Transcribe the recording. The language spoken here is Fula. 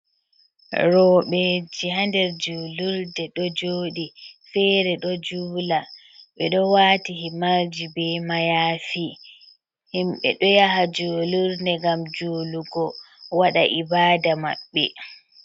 Roɓɓe ji ha nder julurɗe ɗo joɗi fere ɗo jula, ɓe ɗo wati himarji be mayafi, himɓɓe ɗo yaha julurde ngam julugo waɗa ibada maɓɓe.